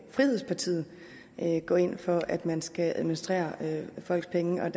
frihedspartiet gå ind for at man skal administrere folks penge ved